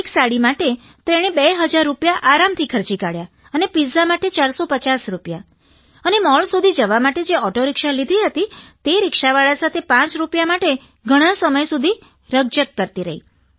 એક સાડી માટે તેણે 2000 રૂપિયા આરામથી ખર્ચી કાઢ્યાં અને પિત્ઝા માટે 450 રૂપિયા અને મૉલ સુધી જવા માટે જે ઓટોરિક્ષા લીધી હતી તે રિક્ષાવાળા સાથે પાંચ રૂપિયા માટે ઘણાં સમય સુધી રકઝક કરતી રહી